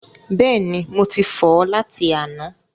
Bẹ́ẹ̀ni, mo ti fọ̀ ọ́ láti àná.